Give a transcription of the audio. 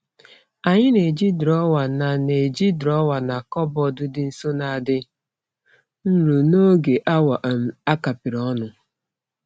Anyị na-eji drọwa na na-eji drọwa na kọbọd dị nso na-adị nro n'oge awa um a kapịrị ọnụ.